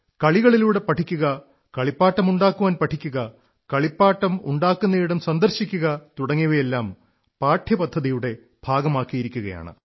കളികളിലൂടെ പഠിക്കുക കളിപ്പാട്ടമുണ്ടാക്കുവാൻ പഠിക്കുക കളിപ്പാട്ടം ഉണ്ടാക്കുന്നിടം സന്ദർശിക്കുക തുടങ്ങിയവയെല്ലാം പാഠ്യപദ്ധതിയുടെ ഭാഗമാക്കിയിരിക്കയാണ്